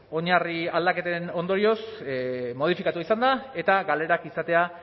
oinarri aldaketen ondorioz modifikatua izan da eta galerak izatea